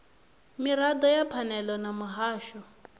mirado ya phanele na muhasho